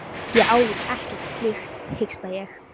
Ég álít ekkert slíkt, hiksta ég.